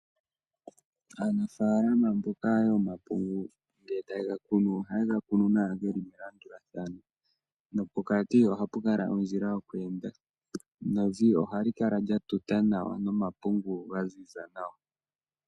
Aanafaalama mboka yomapungu ngele taye ga kunu ohayega kunu nawa geli melandulathano nopokati ohapu kala ondjila yoku enda nevi ohalikala lya tuta nawa nomapungu ga ziza nawa.